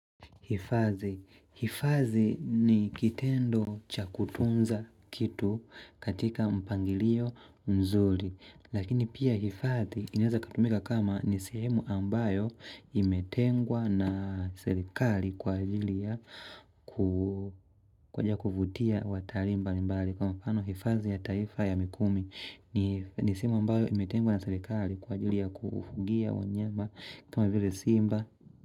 Hifadhi ni kitendo cha kutunza kitu katika mpangilio mzuri. Lakini pia hifadhi inaeza ikatumika kama ni sehemu ambayo imetengwa na serikali kwa ajili ya kuja kuvutia watalii mbalimbali. Kawa mfano hifadhi ya taifa ya mikumi ni sehemu ambayo imetengwa na serikali kwa ajili ya kufugia wanyama kama vile simba.